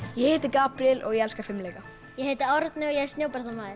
ég heiti Gabríel og ég elska fimleika ég heiti Árni og ég er